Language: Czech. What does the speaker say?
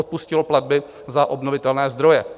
Odpustilo platby za obnovitelné zdroje.